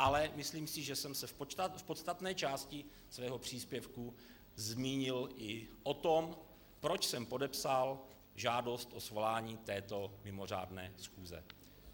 Ale myslím si, že jsem se v podstatné části svého příspěvku zmínil i o tom, proč jsem podepsal žádost o svolání této mimořádné schůze.